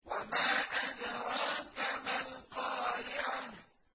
وَمَا أَدْرَاكَ مَا الْقَارِعَةُ